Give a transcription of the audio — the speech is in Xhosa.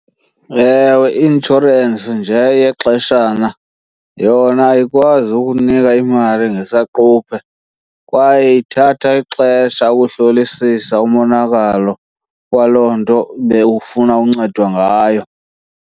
Ewe, i-inshorensi nje yexeshana yona ayikwazi ukunika imali ngesaquphe kwaye ithatha ixesha ukuhlolisisa umonakalo waloo nto bewufuna uncedo ngayo.